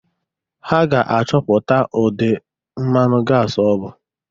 Ha ga-achọpụta ụdị mmanụ gasị ọ bụ.